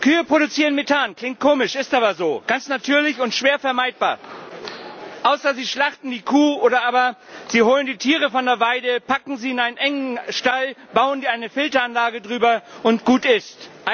Kühe produzieren Methan klingt komisch, ist aber so, ganz natürlich und schwer vermeidbar. Es sei denn, Sie schlachten die Kuh oder aber Sie holen die Tiere von der Weide, packen sie in einen engen Stall, bauen eine Filteranlage drüber und gut ist es.